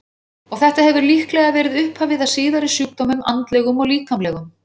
Og þetta hefur líklega verið upphafið að síðari sjúkdómum, andlegum og líkamlegum.